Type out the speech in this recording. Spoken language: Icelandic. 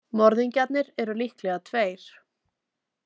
Morðingjarnir eru líklega tveir.